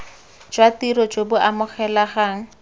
jwa tiro jo bo amogelegang